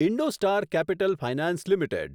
IndoStar Capital Finance limited